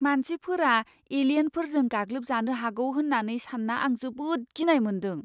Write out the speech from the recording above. मानसिफोरा एलियेनफोरजों गाग्लोबजानो हागौ होन्नानै सान्ना आं जोबोद गिनाय मोन्दों।